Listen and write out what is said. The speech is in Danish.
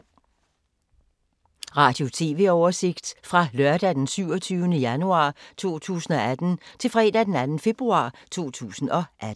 Radio/TV oversigt fra lørdag d. 27. januar 2018 til fredag d. 2. februar 2018